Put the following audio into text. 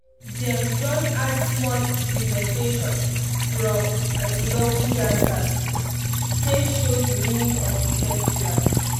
dem don add small presentation from atilogwu dancers take show the meaning of the festival